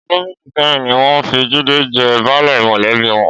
Ọdún méjì sẹ́yìn ni wọ́n fi Jídé jẹ baálé mọ̀lẹ́bí wọn.